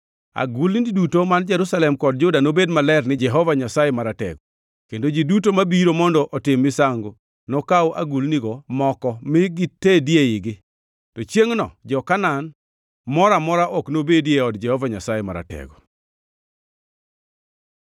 Agulni duto man Jerusalem kod Juda nobed maler ni Jehova Nyasaye Maratego, kendo ji duto mabiro mondo otim misango nokaw agulnigo moko mi gitedie igi. To chiengʼno jo-Kanaan moro amora ok nobedi e od Jehova Nyasaye Maratego.